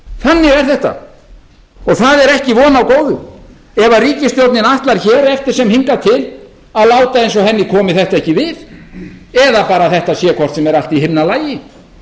þannig er þetta og það er ekki von á góðu ef ríkisstjórnin ætlar hér eftir sem hingað til að láta sem henni komi þetta ekki við eða bara þetta sé hvort sem er allt í himnalagi